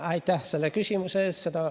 Aitäh selle küsimuse eest!